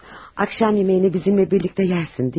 Axşam yeməyini bizimlə birlikdə yersin, deyilmi?